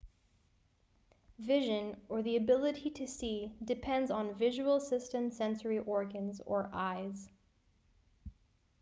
vision or the ability to see depends on visual system sensory organs or eyes